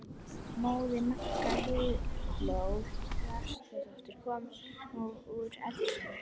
Móðir Magga, Heiðló Þrastardóttir, kom nú úr eldhúsinu.